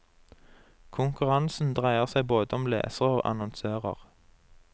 Konkurransen dreier seg både om lesere og annonsører.